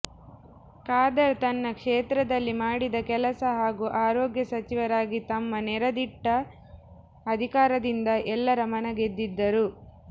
ಖಾದರ್ ತನ್ನ ಕೇತ್ರದಲ್ಲಿ ಮಾಡಿದ ಕೆಲಸ ಹಾಗೂ ಆರೋಗ್ಯ ಸಚಿವರಾಗಿ ತಮ್ಮ ನೇರ ದಿಟ್ಟ ಅಧಿಕಾರದಿಂದ ಎಲ್ಲರ ಮನ ಗೆದ್ದಿದ್ದರು